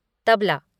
tabla